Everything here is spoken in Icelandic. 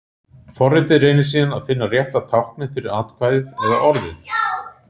Forritið reynir síðan að finna rétta táknið fyrir atkvæðið eða orðið.